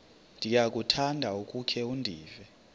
ndiyakuthanda ukukhe ndive